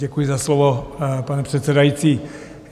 Děkuji za slovo, pane předsedající.